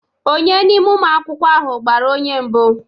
Ònye n'ime ụmụ akwụkwọ ahụ gbara onye mbụ